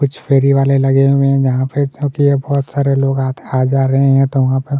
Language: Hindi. कुछ फेरी वाले लगे हुए है जहाँ पे बोहोत सरे लोग आ जा रहे है वहाँ पे --